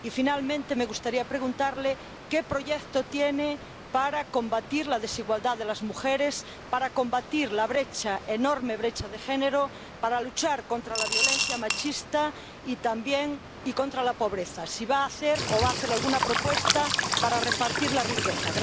Y, finalmente, me gustaría preguntarle qué proyecto tiene para combatir la desigualdad de las mujeres, para combatir la brecha —enorme brecha— de género, para luchar contra la violencia machista y, también, contra la pobreza, y si va a hacer alguna propuesta para repartir la riqueza.